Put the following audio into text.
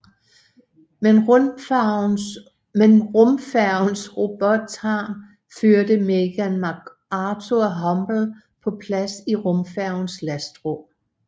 Med rumfærgens robotarm førte Megan McArthur Hubble på plads i rumfærgens lastrum